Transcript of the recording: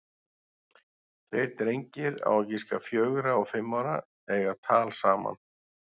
Tveir drengir, á að giska fjögra og fimm ára, eiga tal saman.